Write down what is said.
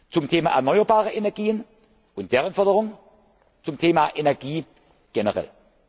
Zum Thema erneuerbare Energien und deren Förderung, zum Thema Energie generell.